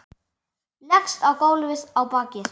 Leggst á gólfið á bakið.